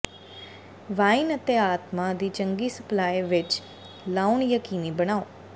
wine ਅਤੇ ਆਤਮਾ ਦੀ ਚੰਗੀ ਸਪਲਾਈ ਵਿੱਚ ਲਾਉਣਾ ਯਕੀਨੀ ਬਣਾਓ